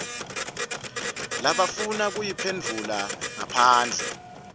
labafuna kuyiphendvula ngaphandle